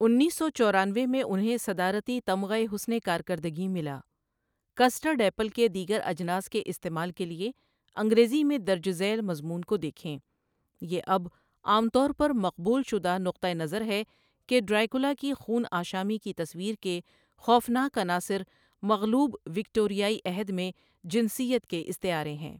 انیس سو چورانوے میں انہیں صدارتی تمغہء حسنِ کارکردگی ملا کسٹرڈ ایپل كے دیگر اجناس کے استعمال کے لیے انگریزی میں درج ذیل مضمون کو دیکھیں یہ اب عام طور پر مقبول شدہ نقطہ نظر ہے کہ ڈریکولا کی خون آشامی کی تصویر کے خوفناک عناصر مغلوب وکٹوریائی عہد میں جنسیت کے استعارے ہیں۔